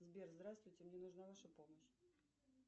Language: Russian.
сбер здравствуйте мне нужна ваша помощь